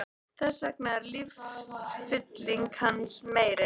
Þess vegna er lífsfylling hans meiri.